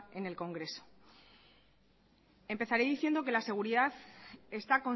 en el congreso empezaré diciendo que la seguridad está